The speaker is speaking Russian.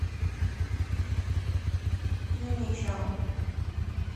юничел